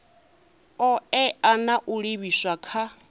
oea na u livhiswa kha